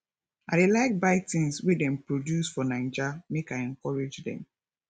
i dey like buy tins wey dem produce for naija make i encourage dem